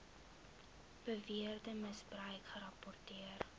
beweerde misbruik gerapporteer